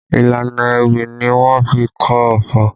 Ìlànà ewì ni wọ́n fi kọ ọfọ̀